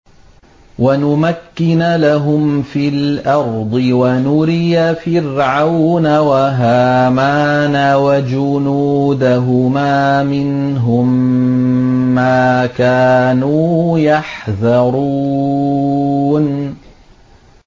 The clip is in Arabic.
وَنُمَكِّنَ لَهُمْ فِي الْأَرْضِ وَنُرِيَ فِرْعَوْنَ وَهَامَانَ وَجُنُودَهُمَا مِنْهُم مَّا كَانُوا يَحْذَرُونَ